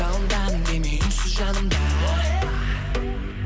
жалындаған денең үнсіз жанымда